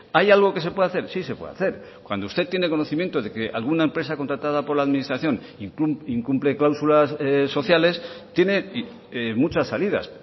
hay algo que se puede hacer sí se puede hacer cuando usted tiene conocimiento de que alguna empresa contratada por la administración incumple cláusulas sociales tiene muchas salidas